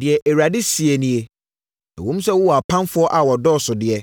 Deɛ Awurade seɛ nie: “Ɛwom sɛ wɔwɔ apamfoɔ a wɔdɔɔso deɛ,